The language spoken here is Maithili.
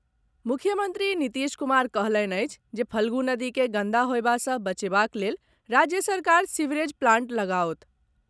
मुख्यमंत्री नीतीश कुमार कहलनि अछि जे फल्गु नदी के गंदा होयबा सँ बचेबाक लेल राज्य सरकार सीवरेज प्लांट लगाओत।